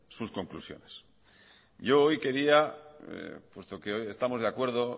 sus conclusiones yo hoy quería puesto que estamos de acuerdo